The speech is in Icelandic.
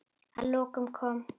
Að lokum kom